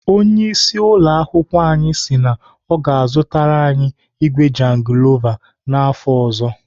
Onyeisi ụlọakwụkwọ anyị si na ọ ga-azụtara igwe jangilova afọ ọzọ.